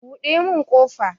Buɗe mun ƙofa!